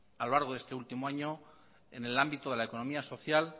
a lo largo de este último año en el ámbito de la economía social